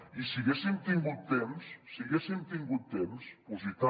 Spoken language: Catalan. i si haguéssim tingut temps si haguéssim tingut temps i tant